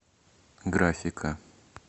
графика